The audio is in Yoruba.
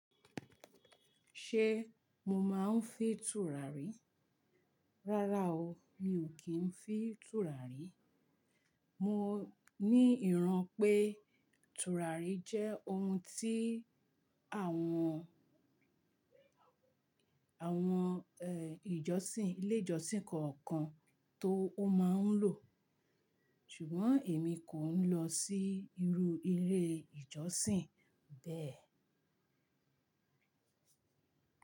Ṣé mo máa ń fin tùràrí? Rárá o, mi ò kí ń fi tùràrí. Mo ní ìran pé tùràrí jẹ́ ohun tí àwọn, àwọn ẹ́, ìjọ́sìn, ilé ìjọ́sìn kọ̀ọ̀kan tó máa ń lò. Ṣùgbọ́n èmi kò ń lọ sí irú eré ìjọ́sìn bẹ́ẹ̀